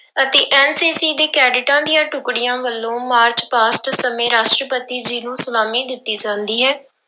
ਅਤੇ NCC ਦੇ ਕੈਡਿਟਾਂ ਦੀਆਂ ਟੁੱਕੜੀਆਂ ਵੱਲੋਂ ਮਾਰਚ ਸਮੇਂ ਰਾਸ਼ਟਰਪਤੀ ਜੀ ਨੂੰ ਸਲਾਮੀ ਦਿੱਤੀ ਜਾਂਦੀ ਹੈ।